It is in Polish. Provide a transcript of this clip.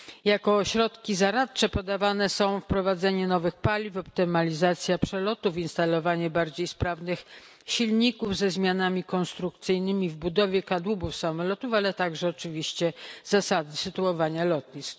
Jako środki zaradcze podawane są wprowadzenie nowych paliw, optymalizacja przelotów, instalowanie bardziej sprawnych silników ze zmianami konstrukcyjnymi w budowie kadłubów samolotów, ale także oczywiście zasady sytuowania lotnisk.